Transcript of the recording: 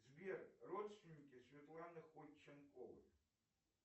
сбер родственники светланы ходченковой